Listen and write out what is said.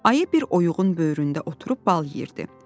Ayı bir oyuğun böyründə oturub bal yeyirdi.